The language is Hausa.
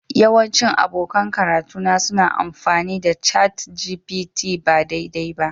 Yawancin abokan karatuna suna amfani da ChatGPT ba daidai ba